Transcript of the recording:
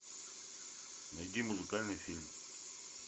найди музыкальный фильм